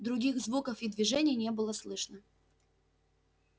других звуков и движений не было слышно